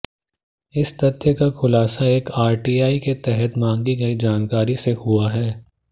इस तथ्य का खुलासा एक आरटीआई के तहत मांगी गयी जानकारी से हुआ है